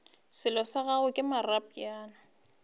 sello sa gagwe ke moropana